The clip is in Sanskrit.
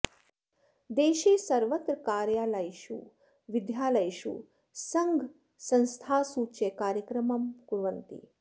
देशे सर्वत्र कार्यालयेषु विद्यालयेषु सङ्घसंस्थासु च कार्यक्रमं कुर्वन्ति